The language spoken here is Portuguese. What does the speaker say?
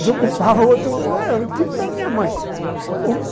Desocupava outro... Tipo da minha mãe.